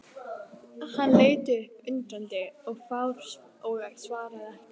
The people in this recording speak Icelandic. Hann leit upp undrandi og fár og svaraði ekki.